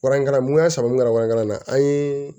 Waranikaramuya san n ka warini na an ye